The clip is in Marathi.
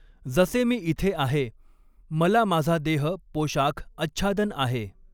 जसे मी इथे आहे मला माझा देह पोशाख आच्छादन आहे.